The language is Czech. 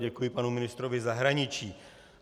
Děkuji panu ministrovi zahraničí.